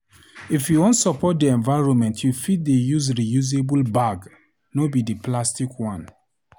If you wan support di environment you fit dey use reusable bag, no be di plastic one.